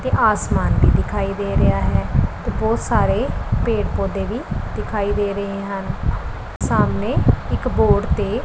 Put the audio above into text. ਤੇ ਆਸਮਾਨ ਵੀ ਦਿਖਾਈ ਦੇ ਰਿਹਾ ਹੈ ਤੇ ਬਹੁਤ ਸਾਰੇ ਪੇੜ ਪੌਧੇ ਵੀ ਦਿਖਾਈ ਦੇ ਰਹੇ ਹਨ ਸਾਮਣੇ ਇਕ ਬੋਰਡ ਤੇ---